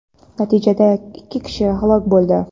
Natijada ikki kishi halok bo‘ldi.